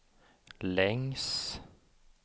längs